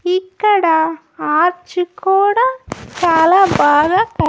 ఇక్కడ ఆర్చ్ కూడా చాలా బాగా.